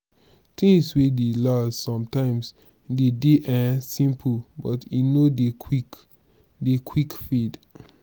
things wey dey last sometimes de dey um simple but e no dey quick dey quick fade